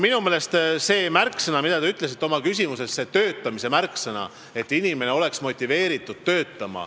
Minu meelest on tähtis see töötamise märksõna, mis te oma küsimuses ütlesite – see, et inimene oleks motiveeritud töötama.